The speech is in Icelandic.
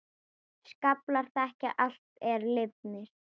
Skaflar þekja allt er lifir.